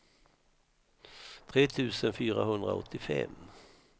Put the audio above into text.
tre tusen fyrahundraåttiofem